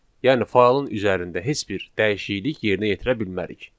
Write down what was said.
Yəni faylın üzərində heç bir dəyişiklik yerinə yetirə bilmərik.